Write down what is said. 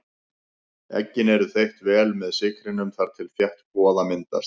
Eggin eru þeytt vel með sykrinum þar til þétt kvoða myndast.